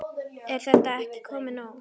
Er þetta ekki komið nóg?